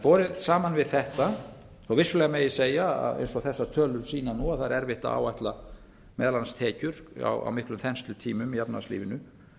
borið saman við þetta þó að vissulega megi segja að eins og þessar tölur sýna nú að það er erfitt að áætla meðal annars tekjur á miklum þenslutímum í efnahagslífinu